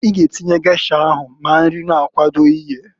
I g'atinnye gesha ahụ ma nri na-akwado iyeǃ